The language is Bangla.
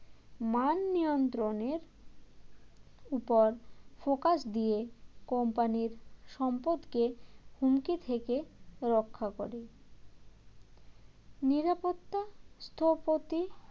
মান নিয়ন্ত্রণের উপর focus দিয়ে company র সম্পদকে হুমকি থেকে রক্ষা করে নিরাপত্তা স্থপতি